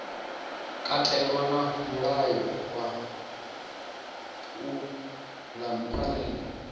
katelwa na mulayo wa phalammennde